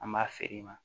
An b'a feere ma